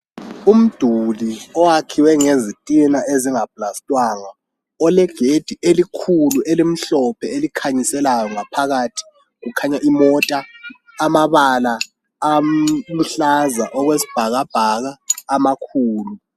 umduli owakhiwe ngezitina ezinga plastwanga olegedi elikhulu elimhlophe elikhanyiselayo ngaphakathi kukhanya imota amabala aluhlaza okwesibhakabhaka amakhulu